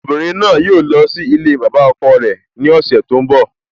Obìnrin náà yóò lọ sí ilée bàbá ọkọ rẹ ní ọ̀sẹ̀ tó ń bọ́